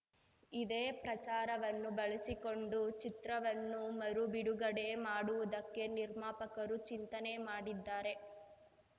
ಇದೇ ಪ್ರಚಾರವನ್ನು ಬಳಸಿಕೊಂಡು ಚಿತ್ರವನ್ನು ಮರು ಬಿಡುಗಡೆ ಮಾಡುವುದಕ್ಕೆ ನಿರ್ಮಾಪಕರು ಚಿಂತನೆ ಮಾಡಿದ್ದಾರೆ